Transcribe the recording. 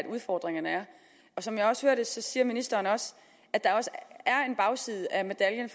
udfordringerne er som jeg også hører det siger ministeren også at der er en bagside af medaljen